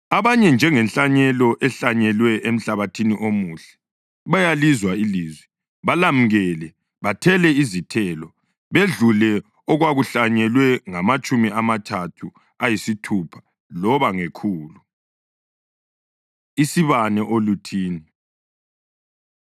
Abanye, njengenhlanyelo ehlanyelwe emhlabathini omuhle, bayalizwa ilizwi, balamukele, bathele izithelo, bedlule okwakuhlanyelwe ngamatshumi amathathu, ayisithupha loba ngekhulu.” Isibane Oluthini